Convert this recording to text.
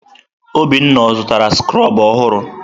Obinna ọ zụtara skrobụ ọhụrụ?